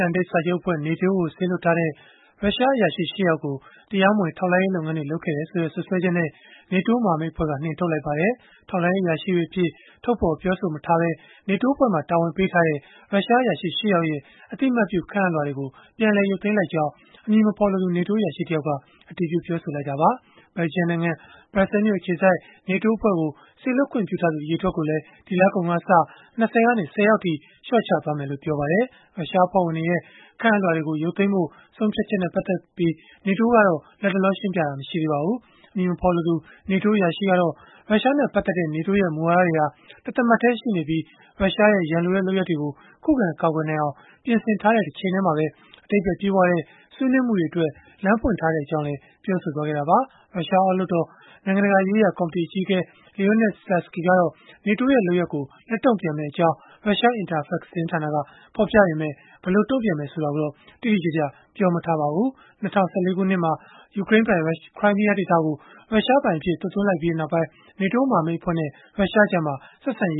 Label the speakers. Speaker 1: န်တိတ်စာချုပ်အဖွဲ့ (NATO) ကို စေလွှတ်ထားတဲ့ ရုရှားအရာရှိ ၈ ယောက်ကို တရားမဝင် ထောက်လှမ်းရေး လုပ်ငန်းတွေ လုပ်ခဲ့တယ်ဆိုတဲ့ စွပ်စွဲချက်နဲ့ NATO မဟာမိတ်အဖွဲ့က နှင်ထုတ်လိုက်ပါတယ်။ ထောက်လှမ်းရေး အရာရှိတွေအဖြစ် ထုတ်ဖော်ပြောဆိုမထားဘဲ NATO အဖွဲ့မှာ တာဝန်ပေးထားတဲ့ ရုရှားအရာရှိ ၈ ယောက်ရဲ့ အသိအမှတ်ပြု ခန့်အပ်လွှာတွေကို ပြန်လည်ရုပ်သိမ်းလိုက်ကြောင်း အမည်မဖော်လိုသူ NATO အရာရှိတယောက်က အတည်ပြုပြောဆိုခဲ့တာပါ။ ဘယ်လ်ဂျီယံနိုင်ငံ ဘရပ်ဆဲမြို့ အခြေစိုက် NATO အဖွဲ့ကို စေလွှတ်ခွင့်ပြုထားသူ အရေအတွက်ကိုလည်း ဒီလကုန်ကစပြီး ၂၀ ကနေ ၁၀ ယောက်အထိ လျှော့ချမယ်လို့ ပြောပါတယ်။ ရုရှားအဖွဲ့ဝင်တွေရဲ့ ခန့်အပ်လွှာတွေ ရုပ်သိမ်းဖို့ ဆုံးဖြတ်ချက်နဲ့ ပတ်သက်လို့ NATO က လတ်တလော ရှင်းပြတာတော့ မရှိသေးပါဘူး။ အမည်မဖော်လိုသူ NATO အရာရှိကတော့ ရုရှားနဲ့ ပတ်သက်တဲ့ NATO ရဲ့ မူဝါဒတွေဟာ တသမတ်တည်း ရှိနေပြီး၊ ရုရှားရဲ့ ရန်လိုတဲ့ လုပ်ရပ်တွေကို ခုခံကာကွယ်နိုင်အောင် ပြင်ဆင်ထားတဲ့ တချိန်တည်းမှာပဲ အဓိပ္ပါယ်ပြည့်ဝတဲ့ ဆွေးနွေးမှုတွေအတွက် လမ်းဖွင့်ထားကြောင်းလည်း ပြောဆိုခဲ့တာပါ။ ရုရှားအောက်လွှတ်တော် နိုင်ငံတကာရေးရာ ကော်မတီ အကြီးအကဲ Leonid Slutsky ကတော့ NATO ရဲ့ လုပ်ရပ်ကို လက်တုံ့ပြန်မယ့်အကြောင်း ရုရှား Interfax သတင်းဌာနက ဖော်ပြခဲ့ပေမဲ့ ဘယ်လိုတုံပြန်မယ် ဆိုတာကိုတော့ တိတိကျကျ ပြောမထားပါဘူး။ ၂၀၁၄ ခုနှစ်မှာ ယူကရိန်းပိုင် ခရိုင်းမီးယားဒေသကို ရုှရှားပိုင်အဖြစ် သွတ်သွင်းလိုက်ပြီးနောက်ပိုင်း NATO မဟာမိတ် အဖွဲ့နဲ့ ရုရှားကြား ဆက်
Speaker 2: ဆံရ